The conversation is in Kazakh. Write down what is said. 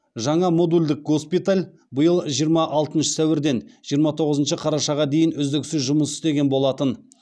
жаңа модульдік госпиталь биыл жиырма алтыншы сәуірден жиырма тоғызыншы қарашаға дейін үздіксіз жұмыс істеген болатын